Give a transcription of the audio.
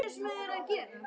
Allt saman á einum stað.